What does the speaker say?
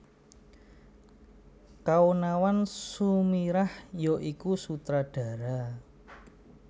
Kaonawan Sumirah ya iku Sutradara